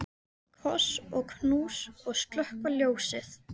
Koss og knús og slökkva ljósið.